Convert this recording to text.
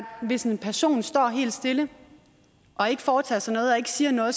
hvis en person står helt stille og ikke foretager sig noget og ikke siger noget